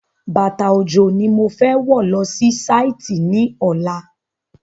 Bàtà òjò ni mo fẹ́ wọ̀ lọ sí Sáìtì ní ọ̀la